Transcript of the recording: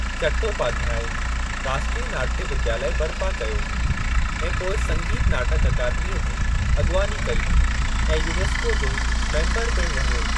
चट्टोपाध्याय, राष्ट्रीय नाट्य विद्यालय बरिपा कयो ऐं पोइ संगीत नाटक अकादमीअ जी अॻिवानी कई ऐं यूनेस्को जो मेम्बर पिण रहियो।